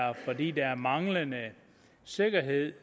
er fordi der er manglende sikkerhed